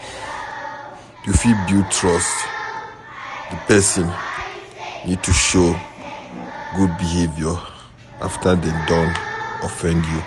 To fit build trust di person need to show good behaviour after dem don offend you